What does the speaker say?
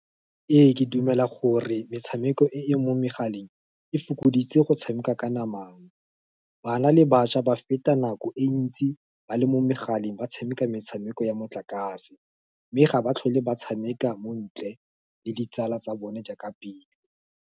Ee, ke dumela gore, metshameko e e mo megaleng, e fokoditse go tshameka ka namang, bana le bašwa ba feta nako e ntsi, ba le mo megaleng, ba tshameka metshameko ya motlakase, mme ga ba tlhole ba tshameka mo ntle, le ditsala tsa bone jaaka pele.